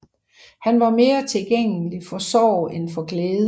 Han var mere tilgængelig for Sorg end for Glæde